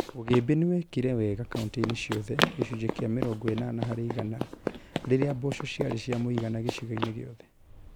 Ũgĩmbĩ nĩwekire wega kauntĩ-inĩ ciothe (gĩcunjĩ kĩa mĩrongo ĩnana harĩ igana) rĩrĩa mboco ciarĩ cia mũigana gĩcigo-inĩ giothe